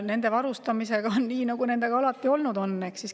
Nende varustamisega on nii, nagu nendega alati olnud on.